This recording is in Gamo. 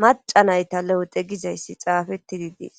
macanayta le'ete gizayssi xaafettidi diis